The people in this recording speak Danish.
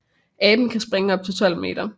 Aben kan springe op til 12 meter